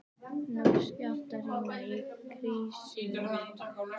Ný skjálftahrina í Krýsuvík